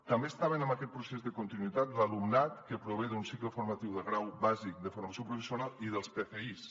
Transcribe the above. també estava en aquest procés de continuïtat l’alumnat que prové d’un cicle formatiu de grau bàsic de formació professional i dels pfis